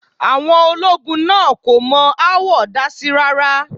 Àwọn ológun náà kò mọ aáwọ̀ dásí rá́rá.